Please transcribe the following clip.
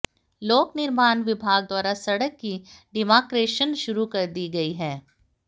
लोक निर्माण विभाग द्वारा सड़क की डिमार्केशन शुरू कर दी गई है